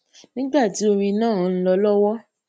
nígbà tí orin náà ń lọ lówó